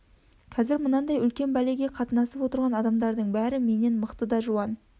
қазір мынандай үлкен бәлеге қатынасып отырған адамдарының бәрі менен мықты да жуан